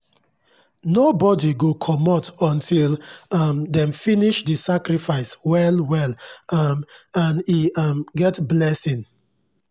nobody go comot until um dem finish the sacrifice well well um and e um get blessing.